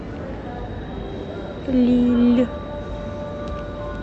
лилль